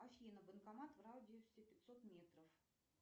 афина банкомат в радиусе пятьсот метров